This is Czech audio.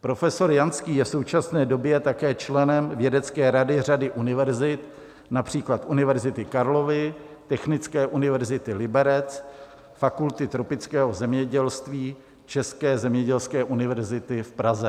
Profesor Janský je v současné době také členem vědecké rady řady univerzit, například Univerzity Karlovy, Technické univerzity Liberec, Fakulty tropického zemědělství České zemědělské univerzity v Praze.